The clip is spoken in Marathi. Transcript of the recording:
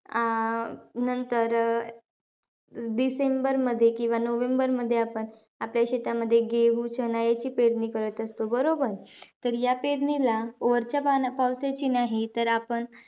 अं नंतर अं डिसेंबरमध्ये किंवा नोव्हेंबरमध्ये आपण आपल्या शेतामध्ये चणा याची पेरणी करत असतो. बरोबर? तर या पेरणीला वरच्या पाण्या पावसाची नाही तर आपण,